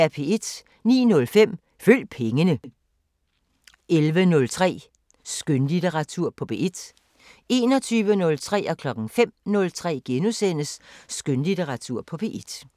09:05: Følg pengene 11:03: Skønlitteratur på P1 21:03: Skønlitteratur på P1 * 05:03: Skønlitteratur på P1 *